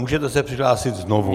Můžete se přihlásit znovu.